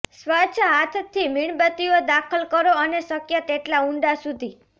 સ્વચ્છ હાથથી મીણબત્તીઓ દાખલ કરો અને શક્ય તેટલા ઊંડા સુધી